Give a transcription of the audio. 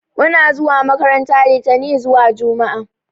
Muna zuwa makaranta litani zuwa juma'a